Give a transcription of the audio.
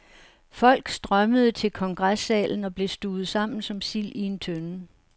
Folk strømmede til kongressalen og blev stuvet sammen som sild i en tønde.